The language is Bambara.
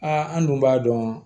Aa an dun b'a dɔn